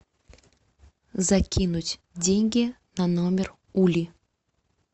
закинуть деньги на номер ули